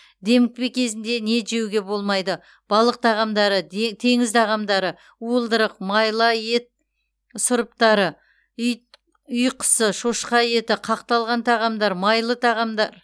демікпе кезінде не жеуге болмайды балық тағамдары теңіз тағамдары уылдырық майла ет сұрыптары ит үй құсы шошқа еті қақталған тағамдар майлы тағамдар